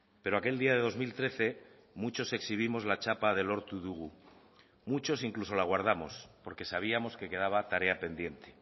pero aquel día de dos mil trece muchos exhibimos la chapa de lortu dugu muchos incluso la guardamos porque sabíamos que quedaba tarea pendiente